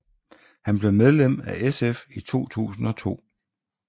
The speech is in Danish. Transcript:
Han blev medlem af SF i 2002